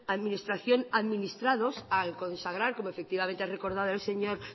administración administrados al consagrar como efectivamente ha recordado el señor